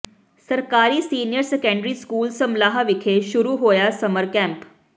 ਸਰਕਾਰੀ senior secondary school Samlah ਵਿਖੇ ਸ਼ੁਰੂ ਹੋਇਆ ਸਮਰ ਕੈਂਪ